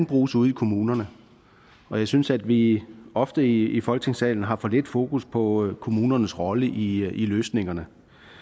bruges ude i kommunerne og jeg synes at vi ofte i folketingssalen har for lidt fokus på kommunernes rolle i løsningerne